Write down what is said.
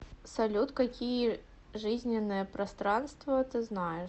салют какие жизненное пространство ты знаешь